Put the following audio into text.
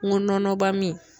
N go nɔnɔba min